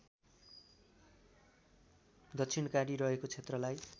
दक्षिणकाली रहेको क्षेत्रलाई